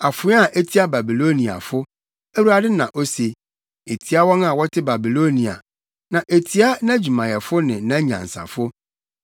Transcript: “Afoa a etia Babiloniafo!” Awurade na ose, “etia wɔn a wɔte Babilonia na etia nʼadwumayɛfo ne nʼanyansafo!